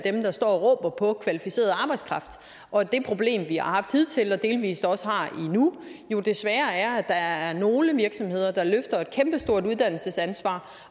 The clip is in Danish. der står og råber på kvalificeret arbejdskraft og at det problem vi har haft hidtil og delvis også har endnu desværre er at hvor der er nogle virksomheder der løfter et kæmpestort uddannelsesansvar